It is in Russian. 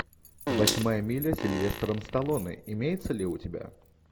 восьмая миля с сильвестром сталлоне имеется ли у тебя